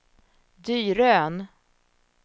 Dyrön